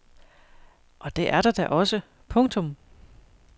Og det er der da også. punktum